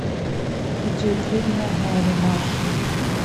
видеофильмы гэрри маршалла